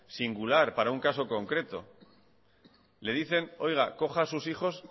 singular para un caso concreto le dicen oiga coja a sus hijos